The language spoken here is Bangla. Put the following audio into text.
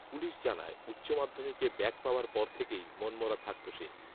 পুলিশ জানায় উচ্চ মাধ্যমিকে ব্যাক পাওয়ার পর থেকেই মনমরা থাকত সে